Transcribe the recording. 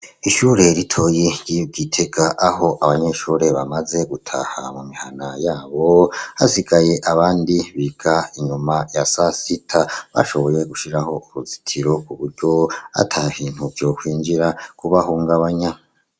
Ishure ritoyi riri i Gitega aho abanyeshure bamaze gutaha mu mihana yabo. Hasigaye abandi biga inyuma ya sasita. Bashoboye gushiraho uruzitiro ku buryo ata bintu vyokwinjira kubahungabanya.